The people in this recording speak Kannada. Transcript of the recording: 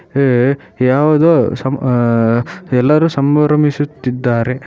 ಏ ಯಾವುದೋ ಸಂ ಅಹ್ ಅಹ್ ಅಹ್ ಎಲ್ಲರು ಸಂಭ್ರಮಿಸುತ್ತಿದ್ದಾರೆ.